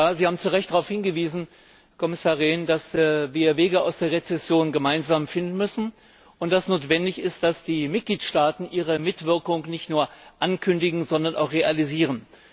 Sie haben zu Recht darauf hingewiesen, Kommissar Rehn, dass wir Wege aus der Rezession gemeinsam finden müssen und dass es notwendig ist, dass die Mitgliedstaaten ihre Mitwirkung nicht nur ankündigen, sondern auch realisieren.